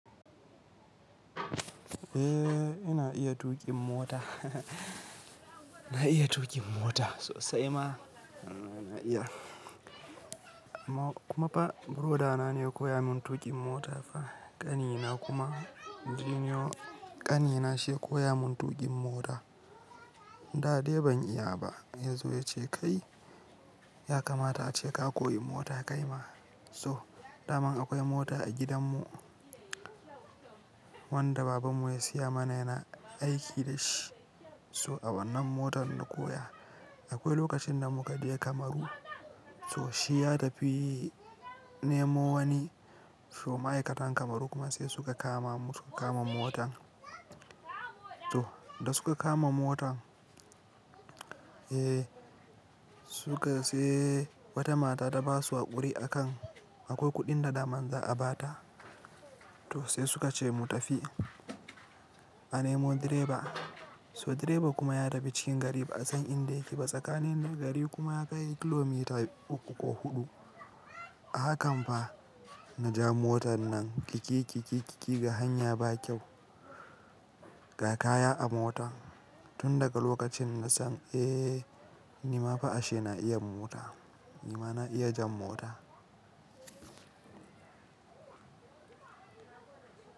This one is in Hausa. Eh ina iya tuƙin mota, na iya tuƙin mota sosai ma. Na iya. Amma kuma fa broda na ne ya koya min tuƙin mota fa, ƙani na kuma, ƙani na shi ya koya mun tuƙin mota. Da dai ban iya ba, ya zo ya ce "kai, ya kamata ace ka koyi mota kai ma", so, dama akwai mota a gidanmu wanda babanmu ya siya mana yana aiki da shi. So a wannan motar na koya. Akwai lokacin da muka je Kamaru, so shi ya tafi nemo wani, so ma'aikatan Kamaru kuma sai suka kama mu, suka kama motan. To, da suka kama motan, eh suka sai wata mata ta basu haƙuri akan akwai kuɗin da dama za a ba ta. To sai suka ce mu tafi a nemo direba. So direba kuma ya tafi cikin gari ba'a san inda yake ba. Tsakanin gari kuma ya kai kilomita uku ko huɗu. Hakan fa na ja motar nan kikiki kikiki ga hanya ba kyau, ga kaya a mota. Tun daga lokacin na san eh ni ma fa ashe na iya mota. Ni ma na iya jan mota.